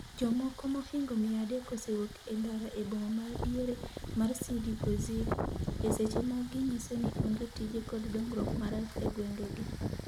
Jomoko mohingo mia adek osewuok e ndara e boma madiere mar Sidi Bouzid, e seche ma ginyiso ni onge tije kod dongruok marach e gwenge gi.